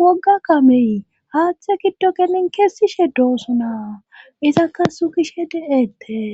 wogga kameyi haaththe giddo gelin kessishe doossona izakka sukishe de'ettes